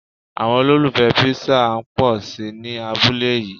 Àwọn olùfẹ Písà ń pòsi ní abúlé yí.